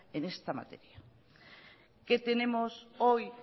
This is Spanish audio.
en esta materia qué tenemos hoy